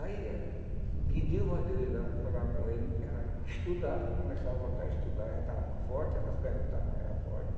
Aí ela pediu para eu ir lá falar com ele para ela estudar, começar a voltar a estudar, já estava mais forte, das pernas estavam já fortes.